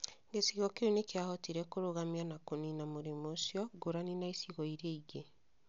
Gĩcigo kĩu nĩ kĩahotire kũrũgamia na kũniina mũrimũ ũcio, ngũrani na icigo iria ingĩ.